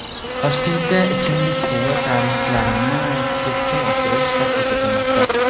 Toshkentda ichimlik suvi tariflarini keskin oshirish taklif etilmoqda.